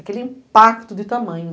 Aquele impacto de tamanho.